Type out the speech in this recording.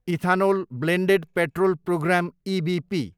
ethanol blended petrol programme, EBP